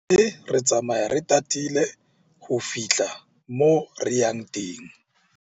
Mme re tsamaya re tatile ho fihla moo re yang teng.